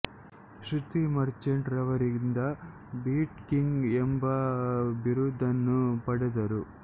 ಶ್ರುತಿ ಮರ್ಚೆಂಟ್ ರವರಿಂದ beat king ಎಂಬ ಬಿರುದನ್ನೂ ಪಡೆದರು